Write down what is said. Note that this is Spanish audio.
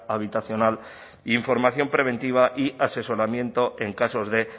habitacional información preventiva y asesoramiento en casos de